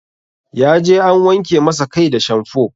Ya je an wanke masa kai da shamfo